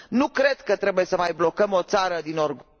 Nu cred că trebuie să mai blocăm o țară din orgoliu...